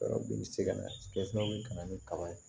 kana ni kaba ye